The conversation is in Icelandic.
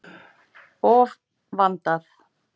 Of vandað.